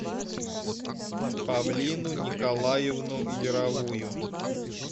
павлину николаевну яровую